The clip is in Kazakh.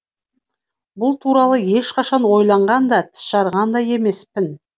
бұл туралы ешқашан ойланған да тіс жарған да емеспін